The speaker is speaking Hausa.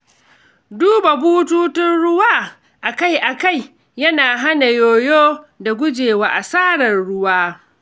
Duba bututun ruwa akai-akai yana hana yoyo da gujewa asarar ruwa.